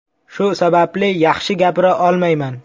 Shu sababli yaxshi gapira olmayman.